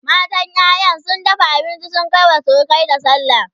matan ƴaƴa sun dafa abinci sun Kai wa surukai da sallah